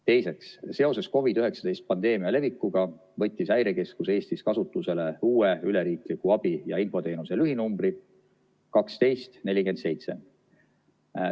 Teiseks, seoses COVID-19 pandeemia levikuga võttis Häirekeskus Eestis kasutusele uue üleriikliku abi- ja infoteenuse lühinumbri 1247.